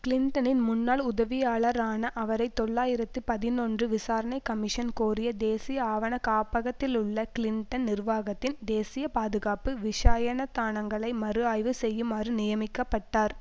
கிளின்டனின் முன்னாள் உதவியாளரான அவரை தொள்ளாயிரத்து பதினொன்று விசாரணைக்கமிஷன் கோரிய தேசிய ஆவண காப்பகத்திலுள்ள கிளின்டன் நிர்வாகத்தின் தேசிய பாதுகாப்பு விஷாயனதானங்களை மறுஆய்வு செய்யுமாறு நியமிக்க பட்டார்